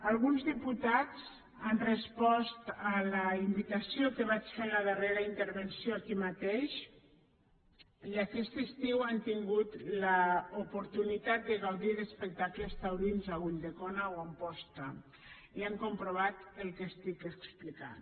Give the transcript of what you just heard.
alguns diputats han respost a la invitació que vaig fer en la darrera intervenció aquí mateix i aquest estiu han tingut l’oportunitat de gaudir d’espectacles taurins a ulldecona o a amposta i han comprovat el que estic explicant